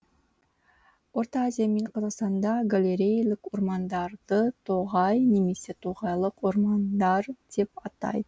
орта азия мен қазақстанда галереялық ормандарды тоғай немесе тоғайлық ормандар деп атай